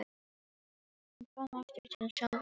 Hún kom aftur til sjálfrar sín.